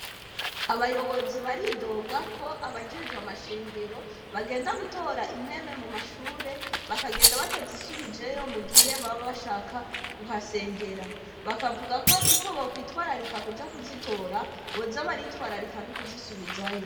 Abayobozi baridoga ko abajejwe amashengero, bagenda gutora intebe mu mashure, bakagenda batazisubijeyo mu gihe baba bashaka kuhasengera. Bakavuga ko uko bokwitwararika kuja kuzitora, boza baritwararika n'ukuzisubizayo.